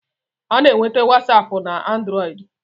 A na-enwete wasapu na anduroidi